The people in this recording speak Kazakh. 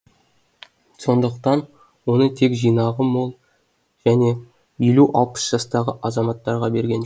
сондықтан оны тек жинағы мол және елу алпыс жастағы азаматтарға берген